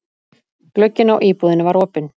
Glugginn á íbúðinni var opinn.